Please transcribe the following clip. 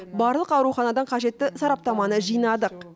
барлық ауруханадан қажетті сараптаманы жинадық